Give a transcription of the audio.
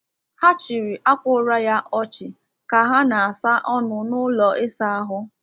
Ha chiri akwa ura ya ochi ka ha na-asa ọnụ n’ụlọ ịsa ahụ.